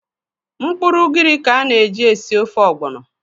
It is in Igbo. Mkpụrụ ugiri ka a na-eji esi ofe ọgbọnọ.